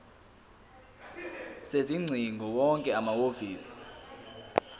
sezingcingo wonke amahhovisi